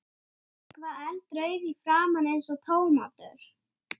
En hann átti gott.